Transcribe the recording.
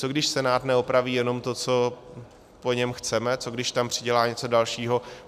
Co když Senát neopraví jenom to, co po něm chceme, co když tam přidělá něco dalšího?